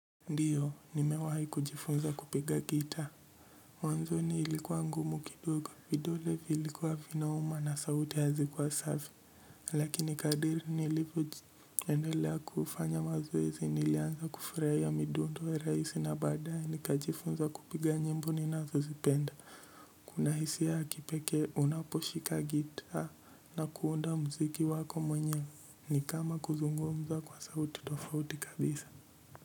Ndiyo nimewahi kujifunza kupiga gitaa mwanzoni ilikuwa ngumu kidogo vidole vilikuwa vinauma na sauti hazikuwa safi lakini kadiri nilifo tuendelea kufanya onilianza kufuraia midundo raisi na baadae nikajifunza kupiga nyimbo ninazozipenda kuna hisia ya hakipeke unaposhika gitaa na kuunda muziki wako mwenyewe ni kama kuzungumza kwa sauti tofauti kabisa.